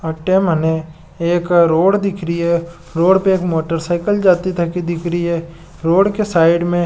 एक रोड दिख रही है रोड पर एक मोटरसाइकिल जाती दिख रही है रोड के साइड मे --